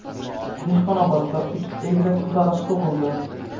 Dehqonobodda uch egizak qizaloq tug‘ildi.